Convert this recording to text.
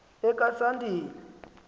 okasandile